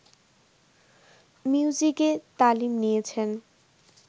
মিউজিকে তালিম নিয়েছেন